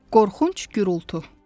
Qorxunc gürultu.